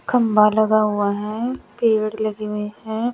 खम्भा लगा हुआ है पेड़ लगे हुए हैं।